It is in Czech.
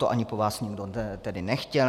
To ani po vás nikdo tedy nechtěl.